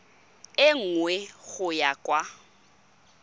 e nngwe go ya kwa